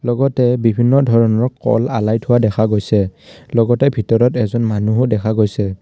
লগতে বিভিন্ন ধৰণৰ কল আলাই থোৱা দেখা গৈছে লগতে ভিতৰত এজন মানুহো দেখা গৈছে।